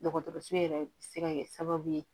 Dɔgɔtɔrɔso yɛrɛ bɛ se ka kɛ sababu ye